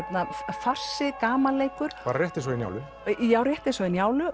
farsi gamanleikur rétt eins og í Njálu já rétt eins og í Njálu